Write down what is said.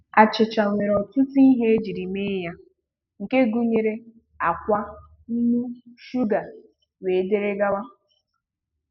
Achịcha nwere ọtụtụ ihe ejiri mee ya nke gụnyere ákwá, nnu, shuga wdg.